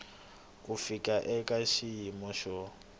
ku fika eka xiyimo xo